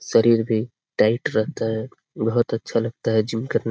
शरीर भी टाइट रहता है बहुत अच्छा लगता है जिम करना।